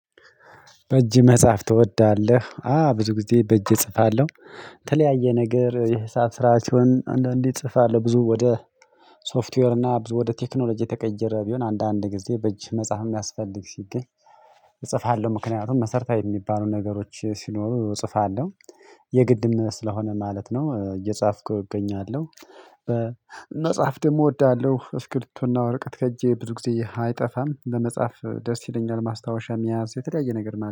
በእጅ መጽሐፍ ትወዳለህ አ ብዙ ጊዜ በእጅ እጽፋለሁ። የተለያየ ነገር የህሳብ ስራ ሲሆን አንዳንዴ ጽፋለሁ ብዙ ወደ ሶፍትዌር እና ብዙ ወደ ቴክኖሎጂ የተቀየረ ቢሆን አንዳንድ ጊዜ በእጅህ መጽሐፍ የሚያስፈልግ ሲገኝ። እጽፋለሁ ምክንያቱም መሰርታዊ የሚባሉ ነገሮች ሲኖሩ እጽፋለሁ። የግድም ስለሆነ ማለት ነው እየጻፍኩ እገኛለሁ። መጻፍ ደግሞ እወዳለሁ እስክብሪቶ እና ወረቀት ከእጄ ብዙ ጊዜ አይጠፋም ለመጻፍ ደስ ይለኛል ማስታወሻም ያዝ የተለያየ ነገር ነው